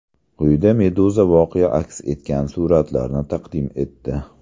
Quyida Meduza voqea aks etgan suratlarni taqdim etdi .